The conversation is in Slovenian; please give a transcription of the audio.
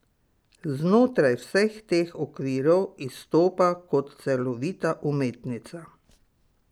Znotraj vseh teh okvirov izstopa kot celovita umetnica.